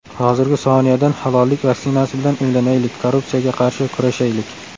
Hozirgi soniyadan halollik vaksinasi bilan emlanaylik, korrupsiyaga qarshi kurashaylik.